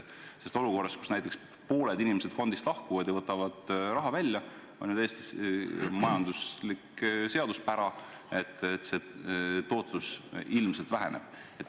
Sest olukorras, kus näiteks pooled inimesed fondist lahkuvad ja võtavad raha välja, kehtib ju täiesti ilmne majanduslik seaduspära, et tootlus ilmselt väheneb.